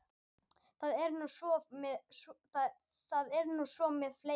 Það er nú svo með fleiri.